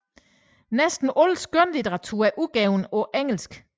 Næsten al skønlitteratur udgivet på engelsk